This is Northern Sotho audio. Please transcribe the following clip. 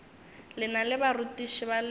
lena le barutiši ba lena